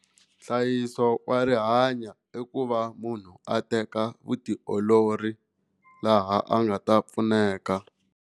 Nhlayiso wa rihanyo i ku va munhu a teka vutiolori laha a nga ta pfuneka.